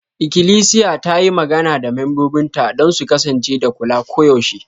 Ikilisiya ta yi magana da membobinta don su kasance da kula koyaushe.